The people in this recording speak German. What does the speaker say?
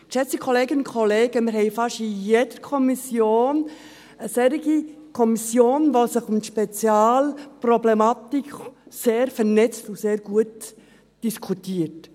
– Geschätzte Kolleginnen und Kollegen, wir haben viele solche Kommissionen, die sich mit einer speziellen Thematik befassen, sich gut vernetzen und gut diskutieren.